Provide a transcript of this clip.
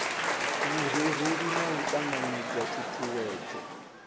vhurereli na u ṱanganedza ṱhuṱhuwedzo